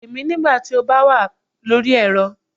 Pè mí nígbà tó bá wà lórí ẹ̀rọ